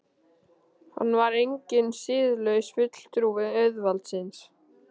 Hann var enginn siðlaus fulltrúi auðvaldsins.